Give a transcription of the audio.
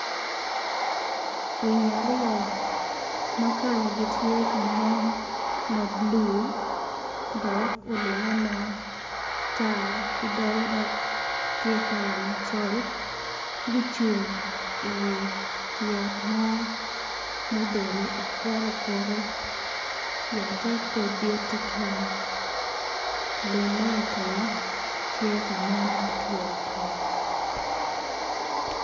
Winyo aryo makala gi tye ka nen mablue dok olinge matar kidoge dok tye kala macol gucung i wi yat mo ma obedo okuto okuto yate pe dit tutwal lum ma i tenge tye ka nen ma otwo otwo.